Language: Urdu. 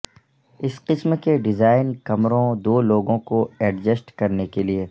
اس قسم کے ڈیزائن کمروں دو لوگوں کو ایڈجسٹ کرنے کے لئے